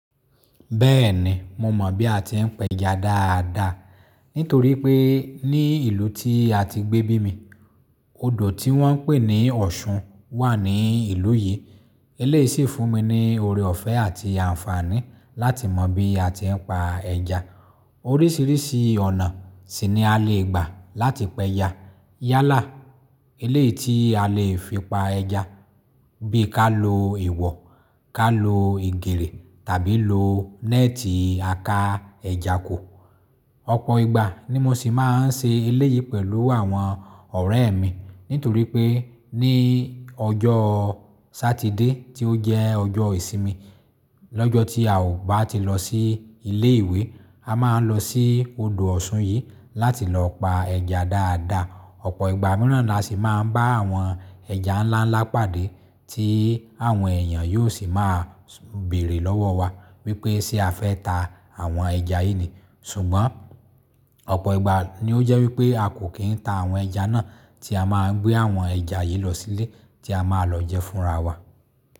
Bẹ́ẹ̀ni, mo mọ̀ bí a ti ń pẹja dáadáa. Nítorí pé ní ìlú tí a ti gbé bí mi, odò tí wọ́n ń pè ní Ọ̀ṣun wà ní ìlú yìí. Eléyìí sì fún mi ní ore ọ̀fẹ́ àti àǹfààní láti mọ bí a ti ń pa ẹja. Oríṣiríṣi ọ̀nà sì ni a lè gbà láti pẹja. Yálà, eléyìí tí a lè fi pa ẹja, bí ká lo ìwọ̀, ká lo ìgèrè tàbí lo nẹ́ẹ̀tì à ká ẹja kò. Ọ̀pọ̀ ìgbà ni mo sì máa ń ṣe eléyìí pẹ̀lú àwọn ọ̀rẹ́ mi. Nítorí pé ní ọjọ́ Sátidé tí ó jẹ́ ọjọ́ ìsinmi, lọ́jọ́ tí a ò bá ti lọ sí ilé ìwé, a máa ń lọ sí odò Ọ̀ṣun yìí láti lọ pa ẹja dáadáa. Ọ̀pọ̀ ìgbà mìíràn la sì máa ń bá àwọn ẹja ńlá ńlá pàdé tí àwọn èèyàn yóò sì máa béèrè lọ́wọ́ wa wípé ṣé a fẹ́ ta àwọn ẹja yìí ni? Ṣùgbọ́n ọ̀pọ̀ ìgbà ni ó jẹ́ wípé a kò kí ń ta àwọn ẹja náà tí a máa ń gbé àwọn ẹja yìí lọ sílé tí a máa lọ jẹ fúnra wa.